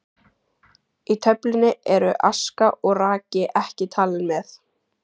Í töflunni eru aska og raki ekki talin með.